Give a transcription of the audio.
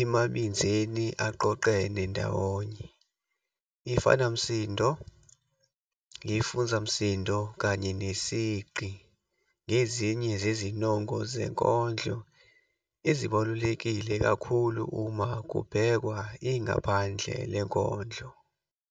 emabinzeni aqoqene ndawonye. Ifanamsindo, ifuzamsindo kanye nesigqi ngezinye zezinongo zenkondlo ezibalulekile kakhulu uma kubhekwa ingaphandle lenkondlo.